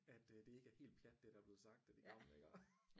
At øh det ikke er helt plat det der er blevet sagt af de gamle iggå